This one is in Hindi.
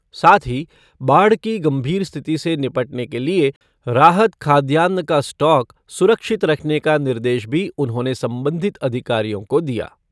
साथ ही बाढ़ की गंभीर स्थिति से निपटने के लिये राहत खाद्यान्न का स्टॉक सुरक्षित रखने का निर्देश भी उन्होंने संबंधित अधिकारियों को दिया।